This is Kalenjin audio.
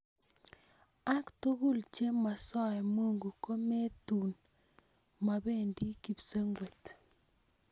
Ak tugul che mosoe mungu ko metun mobendii kipsengwet.